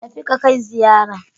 Tafi ka kai ziyara.